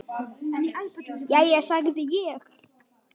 Jæja, sagði ég.